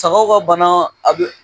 Sagaw ka bana a bɛ